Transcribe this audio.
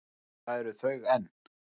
Og það eru þau enn.